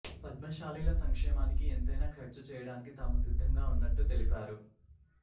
పద్మశాలీల సంక్షేమానికి ఎంతైనా ఖర్చు చేయడానికి తాము సిద్ధంగా ఉన్నట్టు తెలిపారు